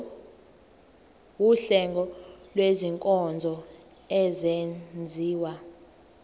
wuhlengo lwezinkonzo ezenziwa